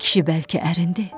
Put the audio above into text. Kişi bəlkə ərindi.